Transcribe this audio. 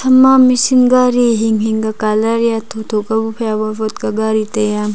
hamma machine gari hing ka colour ya tho tho ka phai awot wot ka gari taiaa.